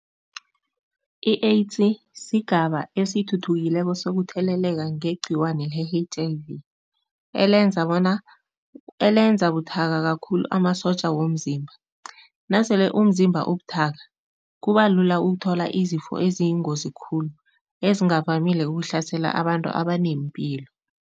I-AIDS sigaba esithuthukileko sokutheleleka ngegcikwane le-H_I_V, elenza bona elenza buthaka kakhulu amasotja womzimba. Nasele umzimba ubuthaka, kuba lula ukuthola izifo eziyingozi khulu ezingavamile ukuhlasela abantu abanempilo.